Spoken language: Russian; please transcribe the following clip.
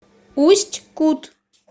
усть кут